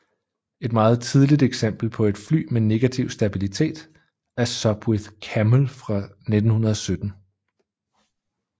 Et meget tidligt eksempel på et fly med negativ stabilitet er Sopwith Camel fra 1917